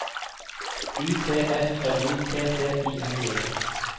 U T F L Y T T I N G